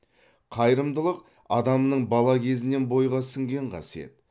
қайырымдылық адамның бала кезінен бойға сіңген қасиет